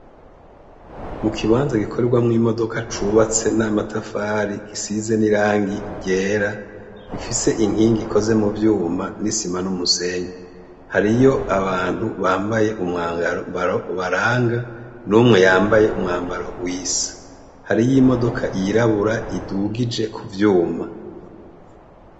Mu kibanza gikorwamwo imodoka cubatse n'amatafari gisize n'irangi ryera ifise inkingi ikoze mu vyuma n’isima n'umusenyi, hariyo abantu bambaye umwagambaro ubaranga n'umwe yambaye umwambaro w'isi, hariyo imodoka iyirabura idugije kuvyuma.